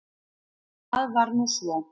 Það var nú svo.